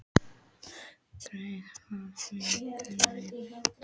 Gréta, hvaða vikudagur er í dag?